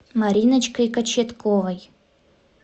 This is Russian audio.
мариночкой кочетковой